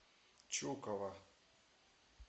чукова